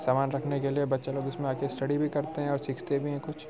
सामान रखने के लिए बच्चे लोग इसमें आकर स्टडी भी करते हैं और सीखते भी है कुछ।